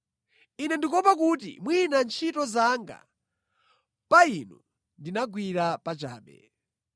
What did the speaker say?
Ine ndikuopa kuti mwina ntchito zanga pa inu ndinagwira pachabe.